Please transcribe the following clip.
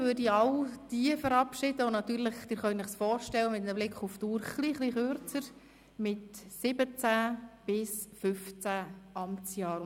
Nun verabschiede ich – mit Blick auf die Uhr etwas kürzer – die Abtretenden mit 17 bis 15 Amtsjahren.